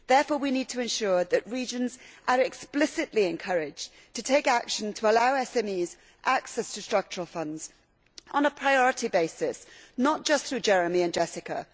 Therefore, we need to ensure that regions are explicitly encouraged to take action to allow SMEs access to Structural Funds on a priority basis, and not just through JEREMIE and JESSICA.